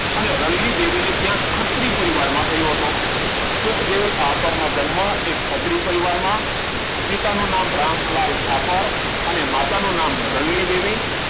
અને રવિનીદેવી ને ત્યાં ખત્રી પરિવાર માં થયો હતો સુખદેવ થાપડ નો જન્મ એક ખત્રિ પરિવાર માં પિતા નું નામ રામલાલ થાપડ અને માતા નું નામ રવિનીદેવી